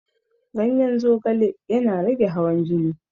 Ganyen zogale yana rage hawan jini